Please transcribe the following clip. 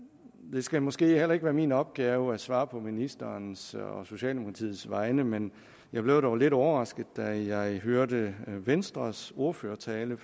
skal måske ikke være min opgave at svare på ministerens og socialdemokratiets vegne men jeg blev dog lidt overrasket da jeg hørte venstres ordførertale